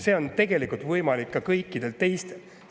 See on tegelikult võimalik ka kõikidel teistel.